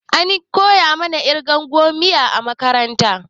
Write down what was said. Ana koya mana ƙirgan gomiya a makaranta.